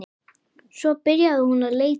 Svo byrjaði hún að leita.